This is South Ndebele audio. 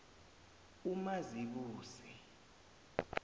umazibuse